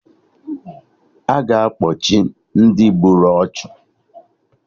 A ga-akpochi Ndị gburu ọchụ